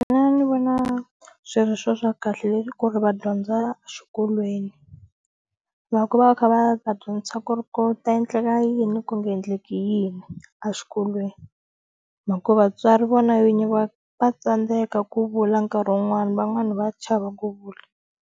Mina ni vona swi ri swona swa kahle ku ri va dyondza exikolweni na ku va va kha va va dyondzisa ku ri ku ta endleka yini ku nge endleki yini a xikolweni hi mhaka ku vatswari vona vinyi va va tsandzeka ku vula nkarhi wun'wani van'wani va chava ku vula.